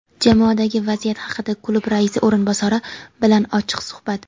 Jamoadagi vaziyat haqida klub raisi o‘rinbosari bilan ochiq suhbat.